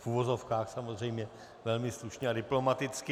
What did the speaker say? V uvozovkách, samozřejmě, velmi slušně a diplomaticky.